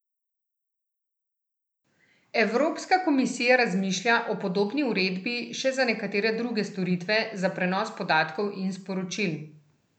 Evropska komisija razmišlja o podobni uredbi še za nekatere druge storitve, za prenos podatkov in sporočil.